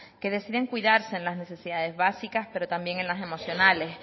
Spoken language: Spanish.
que deciden cuidarse en las necesidades básicas pero también en las emocionales